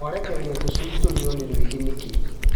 Mwarekereria tũcui tũrĩo nĩ rwĩgĩ nĩkĩ.